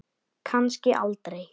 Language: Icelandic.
Kannski aldrei.